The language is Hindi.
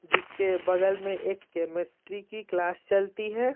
जिसके बगल में एक केमिस्ट्री की क्लास चलती है।